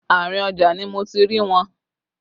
Àárín ọjà ni mo ti rí wọn